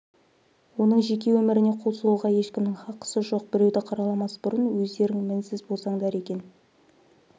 оның жеке өміріне қол сұғуға ешкімнің хақысы жоқ біреуді қараламас бұрын өзідерің мінсіз болсаңдар екен